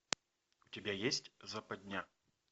у тебя есть западня